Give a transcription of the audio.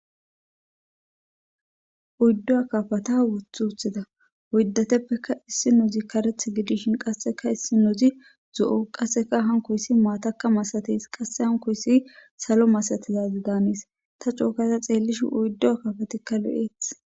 Oyidu kafata uti utida uyddateppeka issi nozi kareth gidishin qasseka issi nozi zo'o qasseka hankoyssi maataka masateys qasse hankoyssi salo masatizazi daaniis ta coogada ta xeellishi uyddo kafateka lo'eth